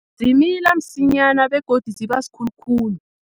Zimila msinyana begodu ziba sikhulukhulu.